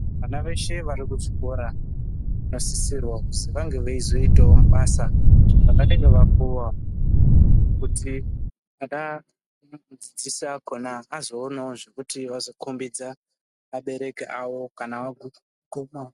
Vana veshe vari ku zvikora vano sisirwa kuzi vange veizo itawo mabasa avanenge vapuwa kuti ano dzidzisa ikona azo onawo zvekuti vazo kombidza abereki awo kana agumawo.